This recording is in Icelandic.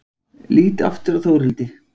Lít aftur á Þórhildi.